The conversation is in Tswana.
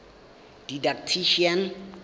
didactician